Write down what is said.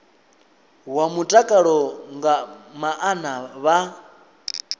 wa mutakalo nga maana vha